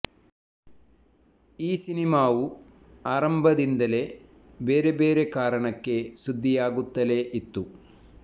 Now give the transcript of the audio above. ಈ ಸಿನಿಮಾವು ಆರಂಭದಿಂದಲೇ ಬೇರೆ ಬೇರೆ ಕಾರಣಕ್ಕೆ ಸುದ್ದಿಯಾಗುತ್ತಲೇ ಇತ್ತು